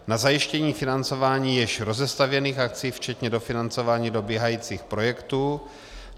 na zajištění financování již rozestavěných akcí včetně dofinancování dobíhajících projektů;